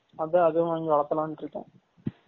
அதான் அதுவும் வாங்கி வலதாலானு இருகேன்